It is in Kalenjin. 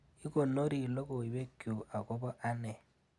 Inkonori logoiwekchu akobo ane.